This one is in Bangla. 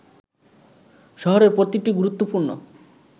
শহরের প্রতিটি গুরুত্বপূর্ণ